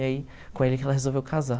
E aí com ele que ela resolveu casar.